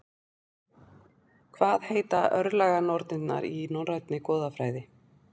Hvað heita örlaganornirnar í Norænni goðafræði?